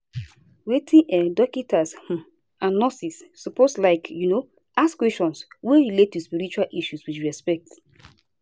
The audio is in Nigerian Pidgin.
wait eh dokita's um and nurses suppose like um ask questions wey relate to spiritual issues with respect